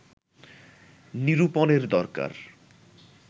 নিরূপণের দরকার